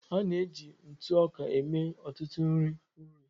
A na-eji ntụ ọka eme ọtụtụ nri nri